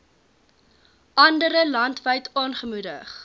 andere landwyd aangemoedig